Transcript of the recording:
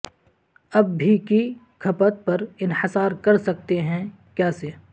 اب بھی کی کھپت پر انحصار کر سکتے ہیں کیا سے